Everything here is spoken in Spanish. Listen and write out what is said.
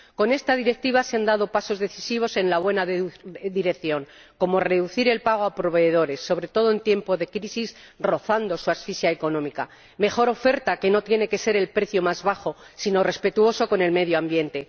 Con esta Directiva se han dado pasos decisivos en la buena dirección, como reducir el pago a proveedores, sobre todo en tiempo de crisis, rozando la asfixia económica, o la mejor oferta, que no tiene que ser la del precio más bajo, sino una oferta respetuosa con el medio ambiente.